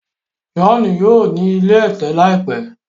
John yíò ní ilé ẹ̀tẹ̀ láìpé.